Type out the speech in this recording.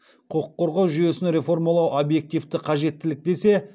құқық қорғау жүйесін реформалау объективті қажеттілік десе